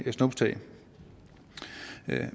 snuptag